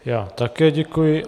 Já také děkuji.